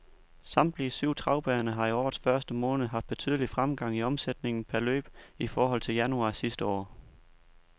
Samtlige syv travbaner har i årets første måned haft betydelig fremgang i omsætningen per løb i forhold til januar sidste år.